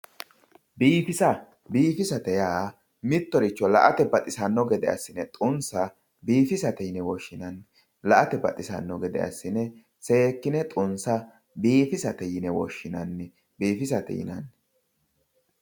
biifisa biifisate yaa mittoricho la''ate baxisanno gede assine xumisa biifisate yine woshshinanni la''ate baxisanno gede assine seekkine xummisa biifisate yine woshshinanni